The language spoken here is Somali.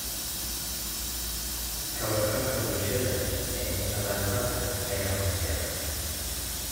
Ka warqabka bulshada ee nadaafadda ayaa hooseeya.